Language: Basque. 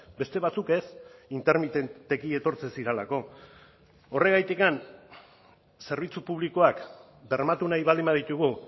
beste batzuk ez intermitenteki etortzen zirelako horregatikan zerbitzu publikoak bermatu nahi baldin baditugu